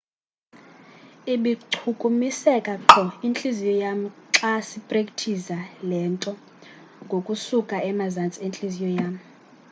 ibichukumiseka qho intliziyo yam xa siprekthiza le nto ngokusuka emazantsi entliziyo yam